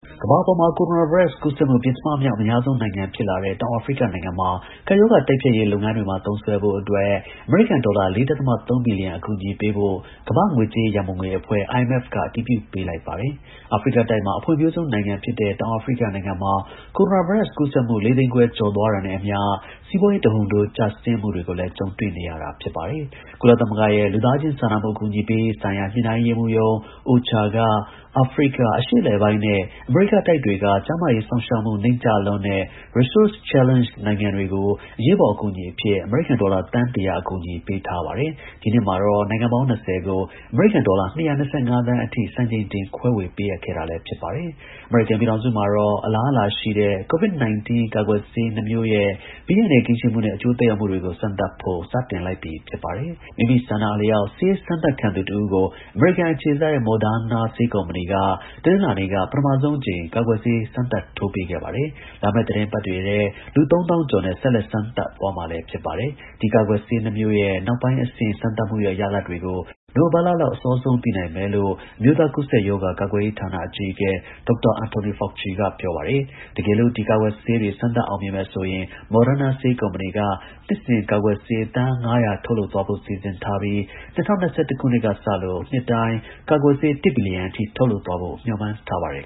ကမ္ဘာပေါ်မှာ ကိုရိုနာ ဗိုင်းရပ်စ်ကူးစက်မှု ပဉ္စမ မြောက် အများဆုံး နိုင်ငံ ဖြစ်လာတဲ့ တောင်အာဖရိက နိုင်ငံမှာ ကပ်ရောဂါ တိုက်ဖျက် ရေး လုပ်ငန်းတွေမှာ သုံးစွဲဖို့ အမေရိကန် ဒေါ်လာ ၄.၃ ဘီလီယံ အကူအညီ ပေးဖို့ ကမ္ဘာ့ ငွေကြေး ရန်ပုံငွေ အဖွဲ့IMF က အတည်ပြု ပေးလိုက်ပါတယ်။ အာဖရိကတိုက်မှာ အဖွံ့ဖြိုးဆုံးနိုင်ငံဖြစ်တဲ့ တောင်အာဖရိကနိုင်ငံမှာ ကိုရိုနာ ဗိုင်းရပ်စ် ကူးစက်မှု ၄၅၀,၀၀၀ ကျော် သွားတာနဲ့အမျှ စီးပွားရေး တဟုန်ထိုး ကျဆင်းမှုတွေကိုလည်း ကြုံတွေ့နေ ရတာ ဖြစ်ပါတယ်။ ကုလသမဂ္ဂရဲ့ လူသားချင်းစာနာမှုအကူအညီပေးရေးဆိုင်ရာ ညှိနှိုင်းရေးရုံး OCHA ကအာဖရိက၊အရှေ့အလယ်ပိုင်းနဲ့ အမေရိကတိုက် တွေကကျန်းမာရေး စောင့်ရှောက်မှု နိမ့်ကျလွန်းတဲ့ resource challenged နိုင်ငံတွေကို အရေးပေါ် အကူအညီအဖြစ် အမေရိကန် ဒေါ်လာ သန်း ၁၀၀ အကူအညီ ပေးထားပါတယ်။ ဒီနှစ်မှာတော့ နိုင်ငံပေါင်း ၂၀ ကို အမေရိကန် ဒေါ်လာ ၂၂၅ သန်း စံချိန်တင် ခွဲဝေ ပေးအပ်ခဲ့တာပါ။ အမေရိကန်ပြည်ထောင်စုမှာတော့ အလားအလာရှိတဲ့ COVID-19 ကာကွယ်ဆေး နှစ် မျိုးရဲ့ ဘေးအန္တရာယ်ကင်းရှင်းမှုနဲ့ အကျိုး သက်ရောက်မှုတွေကို စမ်းသပ်ဖို့ စတင်လိုက်ပြီဖြစ်ပါတယ်။ မိမိဆန္ဒအလျောက် ဆေးစမ်းသပ်ခံသူ တဦးကို အမေရိကန် အခြေစိုက် Moderna ဆေးကုမ္ပဏီက တနင်္လာနေ့က ပထမဆုံးအကြိမ်ကာကွယ်ဆေးစမ်းသပ်ထိုးပေးခဲ့ပါတယ်။ လာမယ့်သီတင်းပတ်တွေထဲ လူ ၃၀,၀၀၀ကျော်နဲ့ ဆက်လက်စမ်းသပ်သွားမှာဖြစ် ပါတယ်။ ဒီကာကွယ်ဆေး နှစ် မျိုးရဲ့ နောက်ပိုင်း အဆင့် စမ်းသပ်မှုရဲ့ ရလဒ်တွေကို နိုဝင်ဘာလလောက် အစောဆုံးသိနိုင်မယ်လို့ အမျိုးသား ကူးစက်ရောဂါ ကာကွယ်ရေးဌာန အကြီးအကဲ Dr. Anthony Fauci ကပြောပါတယ်။ တကယ်လို့ ဒီကာကွယ်ဆေးတွေ စမ်းသပ် အောင်မြင်မယ်ဆိုရင် Moderna ဆေးကုမ္ပဏီက နှစ်စဉ် ကာကွယ်ဆေး သန်း ၅၀၀ ထုတ်လုပ်သွားဖို့ စီစဉ်ထားပြီး ၂၀၂၁ ကစလို နှစ်တိုင်း ကာကွယ်ဆေး ၁ ဘီလီယံအထိ ထုတ်လုပ်သွားဖို့ မျှော်မှန်းထားပါတယ်